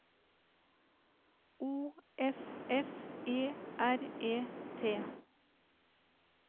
O F F E R E T